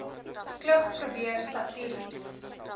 klug probeer satiries